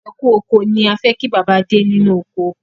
"Ẹkú oko" ni á fi kí bàbá Adé ni inu oko